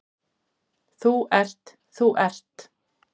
Þú ert, þú ert.